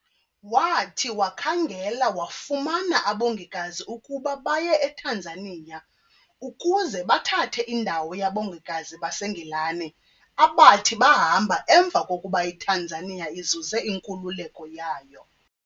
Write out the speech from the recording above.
Wathi wakhangela wafumana abongikazi ukuba baye eTanzania, ukuze bathathe indawo yabongikazi baseNgilane abathi bahamba emva kokuba iTanzania izuze inkululeko yayo.